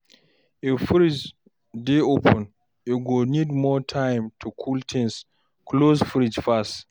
If fridge dey open e go need more time to cool things, close fridge fast